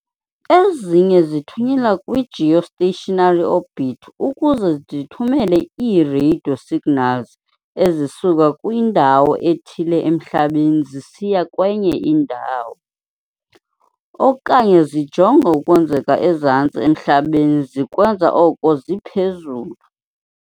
Ezinye zithunyelwa kwi-geostationary orbit ukuze zithumele ii-radio signals ezisuka kwindawo ethile emhlabeni zisiya kwenye indawo, okanye zijonge okwenzeka ezantsi emhlabeni zikwenza oko ziphezulu.